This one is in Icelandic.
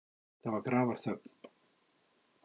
Það var grafarþögn.